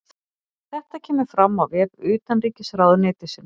Þetta kemur fram á vef utanríkisráðuneytisins